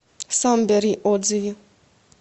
самбери отзывы